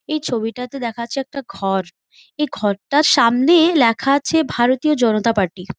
এই ছবিটাতে দেখা যাচ্ছে একটা ঘর । এই ঘরটার সামনে-এ লেখা আছে ভারতীয় জনতা পার্টি ।